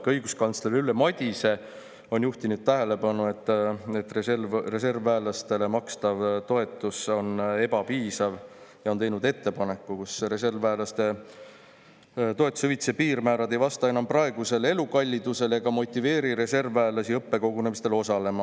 Ka õiguskantsler Ülle Madise on juhtinud tähelepanu, et reservväelastele makstav toetus on ebapiisav, ja teinud ettepaneku, sest reservväelaste toetuse hüvitise piirmäärad ei vasta enam praegusele elukallidusele ega motiveeri reservväelasi õppekogunemisel osalema.